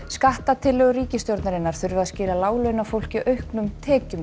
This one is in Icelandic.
skattatillögur ríkisstjórnarinnar þurfa að skila láglaunafólki mjög auknum